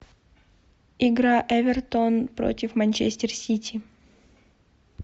игра эвертон против манчестер сити